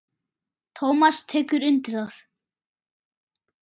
Tómas tekur undir það.